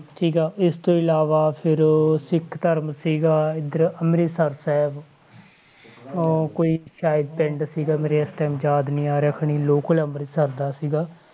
ਠੀਕ ਆ ਇਸ ਤੋਂ ਇਲਾਵਾ ਫਿਰ ਸਿੱਖ ਧਰਮ ਸੀਗਾ ਇੱਧਰ ਅੰਮ੍ਰਿਤਸਰ ਸਾਹਿਬ ਉਹ ਕੋਈ ਸ਼ਾਇਦ ਪਿੰਡ ਸੀਗਾ ਮੇਰੇ ਇਸ time ਯਾਦ ਨੀ ਆ ਰਿਹਾ ਖਨੀ local ਅੰਮ੍ਰਿਤਸਰ ਦਾ ਸੀਗਾ,